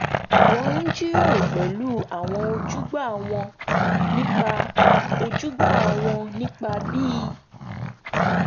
wọ́n jíròrò pẹ̀lú àwọn ojúgbà wọn nípa ojúgbà wọn nípa bí